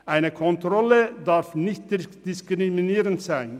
Eine Kontrolle darf nicht diskriminierend sein.